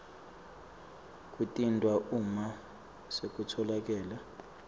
kwentiwa uma sekutfolakele